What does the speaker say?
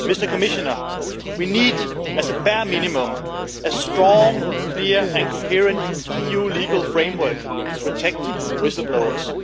Commissioner, we need as a bare minimum a strong, clear and coherent EU legal framework to protect whistle blowers.